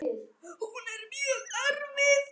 Hún er mjög erfið.